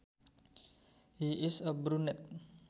He is a brunet